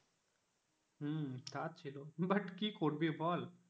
হম তা ছিল but কি করবি বল?